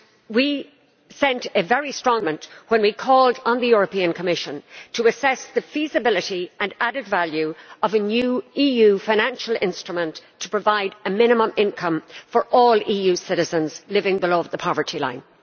We sent a very strong signal from this Parliament when we called on the Commission to assess the feasibility and added value of a new EU financial instrument to provide a minimum income for all EU citizens living below the poverty line.